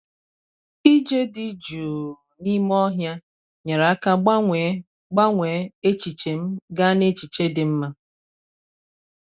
ije dị jụụ n'ime ọhịa nyere aka gbanwee gbanwee echiche m gaa n'echiche dị mma.